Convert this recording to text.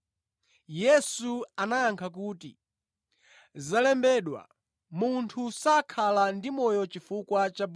Yesu anayankha kuti, “Zalembedwa: ‘Munthu sadzakhala ndi moyo ndi chakudya chokha.’ ”